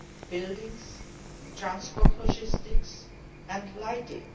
buildings, transport logistics and lighting.